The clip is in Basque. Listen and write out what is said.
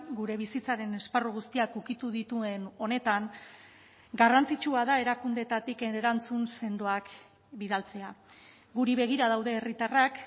gure bizitzaren esparru guztiak ukitu dituen honetan garrantzitsua da erakundeetatik erantzun sendoak bidaltzea guri begira daude herritarrak